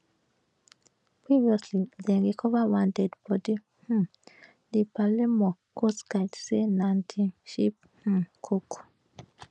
previously dem recova one deadibodi um di palermo coastguard say na di ship um cook